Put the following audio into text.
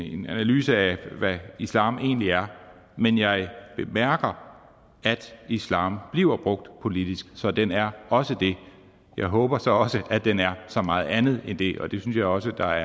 en analyse af hvad islam egentlig er men jeg bemærker at islam bliver brugt politisk så den er også det jeg håber så også at den er så meget andet end det og det synes jeg også der